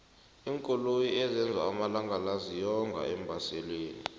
iinkoloyi ezenzwa amalangala ziyonga eembaselini